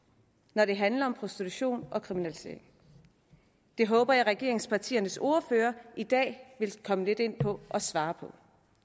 når det handler om prostitution og kriminalitet det håber jeg regeringspartiernes ordførere i dag vil komme lidt ind på og svare på